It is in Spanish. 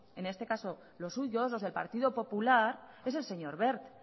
en este caso los suyos los del partido popular es el señor wert